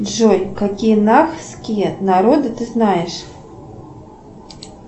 джой какие нахские народы ты знаешь